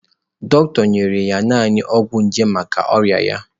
Dọkịta nyere naanị ọgwụ nje maka ọrịa ya.